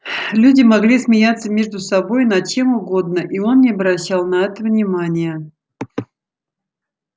люди могли смеяться между собой над чем угодно и он не обращал на это внимания